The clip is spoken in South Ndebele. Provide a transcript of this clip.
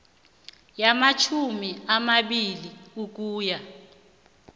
yamatjhumi amabili ukuya